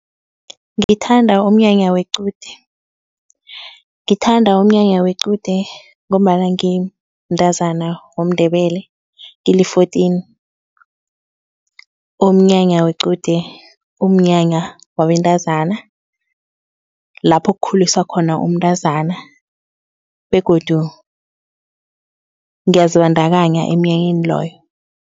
Ngithanda umnyanya wequde. Ngithanda umnyanya wequde ngombana ngimntazana womNdebele ngili-fourteen. Umnyanya wequde umnyanya wabantazana lapho kukhuliswa khona umntazana begodu ngiyazibandakanya emnyanyeni loyo.